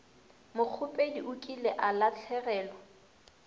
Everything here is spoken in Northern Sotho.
mokgopedi o kile a lahlegelwa